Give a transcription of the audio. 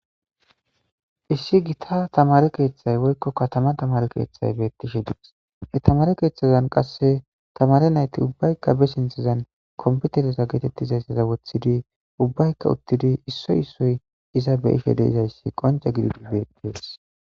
Issi gita tamare kethay woyikko katama tamare ketay betes ha tamare keeththazan qase tamare nayiti ubayika ba sintazan konpitereza getetizayita wotizi ubayika utidi issoy issoy iza beishe dizayisa conche gididi betes.